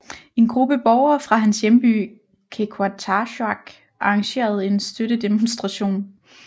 En gruppe borgere fra hans hjemby Qeqertarsuaq arrangerede en støttedemostration